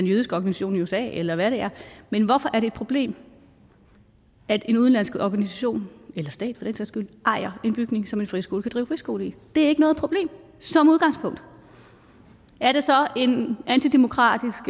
jødisk organisation i usa eller hvad det er men hvorfor er det et problem at en udenlandsk organisation eller stat skyld ejer en bygning som en friskole kan drive friskole i det er ikke noget problem som udgangspunkt er det så en antidemokratisk